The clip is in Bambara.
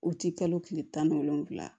U ti kalo kile tan ni wolonwula